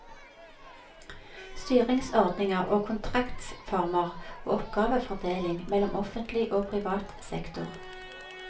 Styringsordninger og kontraktsformer, og oppgavefordeling mellom offentlig og privat sektor.